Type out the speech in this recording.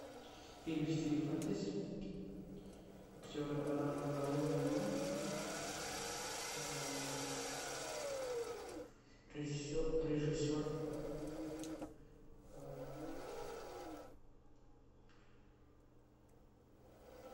фильм в стиле фэнтези актеры орландо блум режиссер